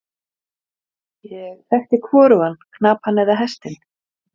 Keilir myndaðist í stöku gosi undir nokkuð þykkum ísaldarjökli.